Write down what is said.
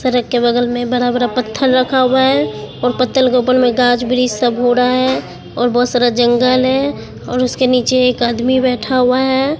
सड़क के बगल में बड़ा बड़ा पत्थर रखा हुआ हैं और पत्थर के ऊपर गाज ब्रिज सब हो रहा हैं और बहोत सारा जंगल हैं और उसके नीचे एक आदमी बैठा हुआ है।